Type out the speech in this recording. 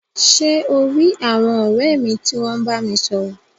Ṣe o ri àwọn ọrẹ mi ti wọn bámi sọ̀rọ̀?